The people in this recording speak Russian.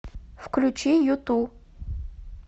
включи юту